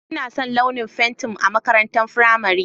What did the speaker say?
Ina son launin fentin a makarantar firamare.